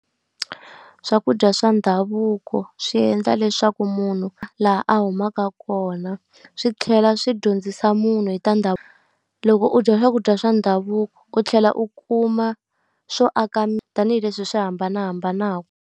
Swakudya swa ndhavuko swi endla leswaku munhu laha a humaka kona, swi tlhela swi dyondzisa munhu hi ta . Loko u dya swakudya swa ndhavuko u tlhela u kuma swo aka tanihileswi hi swi hambanahambanaka.